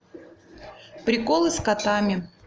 приколы с котами